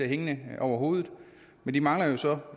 hængende over hovedet men de mangler jo så